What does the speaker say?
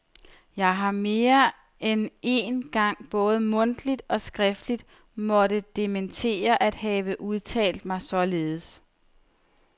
Jeg har mere end én gang både mundtligt og skriftligt måtte dementere at have udtalt mig således.